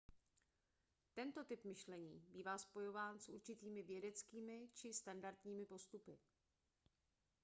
tento typ myšlení bývá spojován s určitými vědeckými či standardními postupy